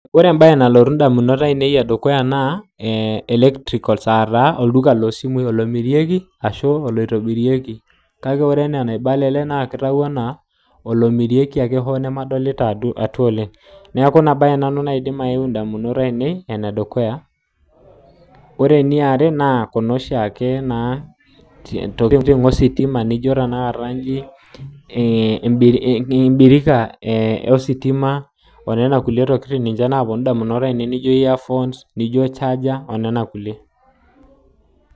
ore entoki nalotu indamunot ainoi naa electronics aoduka omirieki isimui ongulie ake ositima keponu sii inamunot ainei najo embirika ositima charger earphones